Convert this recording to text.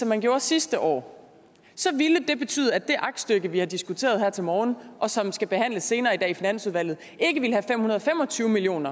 man gjorde sidste år så ville det betyde at det aktstykke vi har diskuteret her til morgen og som skal behandles senere i dag i finansudvalget ikke ville indeholde fem hundrede og fem og tyve million